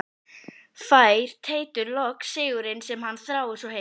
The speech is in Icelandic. Fær Teitur loks sigurinn sem hann þráir svo heitt?